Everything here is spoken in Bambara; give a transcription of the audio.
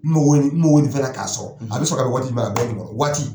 N mago bɛ nin fɛnna k'a sɔrɔ , a bɛ sɔrɔ ka bɛn waati jumɛn ma, a bɛ nkalon, wat